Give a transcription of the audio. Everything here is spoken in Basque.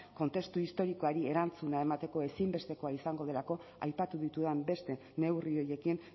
kontestu historikoari erantzuna emateko ezinbestekoa izango delako aipatu ditudan beste neurri horiekin